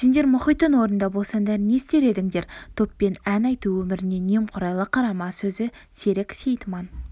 сендер мұхиттың орнында болсаңдар не істер едіңдер топпен ән айту өміріне немқұрайлы қарама сөзі серік сейітман